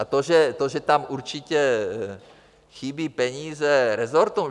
A to, že tam určitě chybí peníze resortům...